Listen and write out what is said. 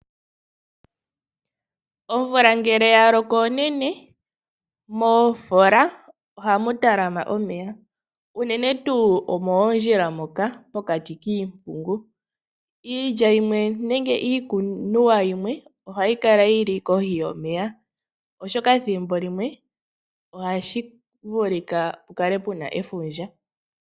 Omvula ngele ya loko onene, moofola ohamu talama omeya, uunene tuu moondjola moka po kati kiimpungu. Iilya yimwe nenge iikuniwa yimwe ohayi kala yili kohi yo meya, oshoka ethimbo limwe ohapu vulika pu kale puna efundja.